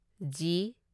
G